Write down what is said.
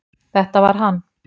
Þetta var hann